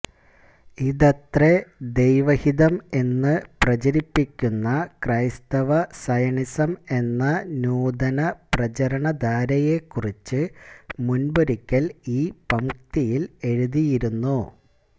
ഇതത്രെ ദൈവഹിതം എന്ന് പ്രചരിപ്പിക്കുന്ന ക്രൈസ്തവ സയണിസം എന്ന നൂതന പ്രചാരണധാരയെക്കുറിച്ച് മുമ്പൊരിക്കല് ഈ പംക്തിയില് എഴുതിയിരുന്നു